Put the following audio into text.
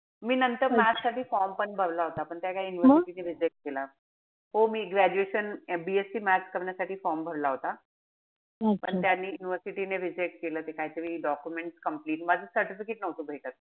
मी नंतर math साठी form पण भरला होता. पण काय ते university ने reject केला. हो मी graduation BSC math करण्यासाठी form भरला होता. पण त्यांनी university ने reject केला. ते काहीतरी documents complete माझं certificate नव्हतं भेटत.